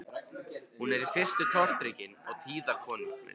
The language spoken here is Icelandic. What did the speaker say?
Hún er í fyrstu tortryggin á tíðar komur